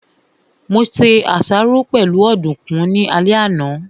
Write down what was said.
Mo se àsáró pẹ̀lú ọ̀dùkún ní alẹ́ àná